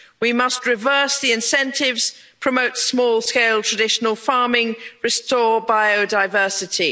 We must reverse the incentives, promote small scale traditional farming and restore biodiversity.